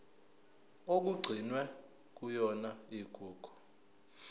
okugcinwe kuyona igugu